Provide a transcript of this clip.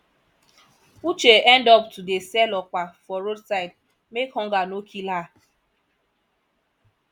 uche end up to dey sell okpa for roadside make hunger no kill her